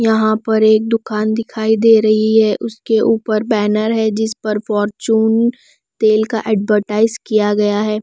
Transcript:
यहाँ पर एक दुकान दिखाई दे रही है उसके ऊपर बैनर है जिस पर फॉर्च्यून तेल का एडवर्टाइज किया गया है।